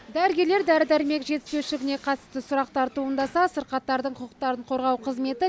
дәрігерлер дәрі дәрмек жетіспеушілігіне қатысты сұрақтар туындаса сырқаттардың құқықтарын қорғау қызметі